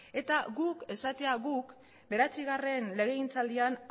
eta guk esatea bederatzigarren legegintzaldian